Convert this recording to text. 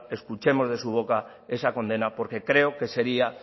escuchemos de su boca esa condena porque creo que sería